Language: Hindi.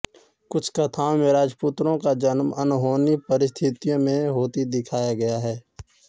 कुछ कथाओं में राजपुत्रों का जन्म अनहोनी पस्थितियों में होता दिखाया गया है